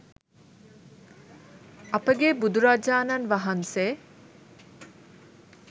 අපගේ බුදුරජාණන් වහන්සේ